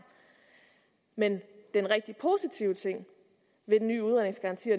men den rigtig positive ting ved den nye udredningsgaranti og